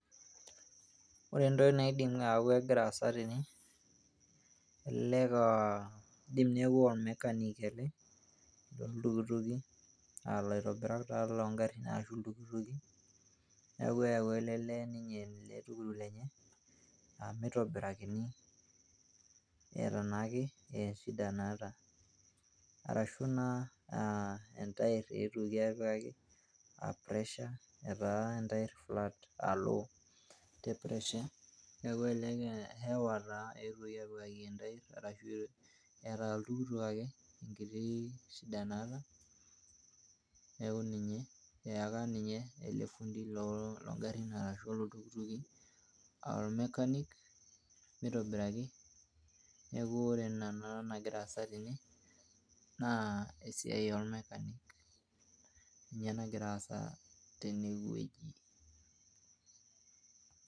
ore entoki naidim aaku kegira aasa tene kidim neeku mechanic ele looltukituki, aa laitobirak taa loogarin. neeku eyaua ele lee ninye oltukutuk lenye, mitobirakini eeta naake shida naata. arashu naake entair eetuoki aitobiraki pressure etaa entair flat alo te pressure. neeku elelek hewa taa eetuoki apikaki entair. ashu eeta oltukutuk ake enkiti shida naata. neeku ninye eeka ninye ele fundi loogarin ashu looltukituki, aa mechanic meitobiraki. neku ore naa enagira aasa tene naa esiai ool mechanic ninye nagira aasa tene wueji.